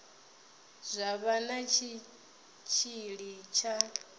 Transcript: zwa vha na tshitshili tsha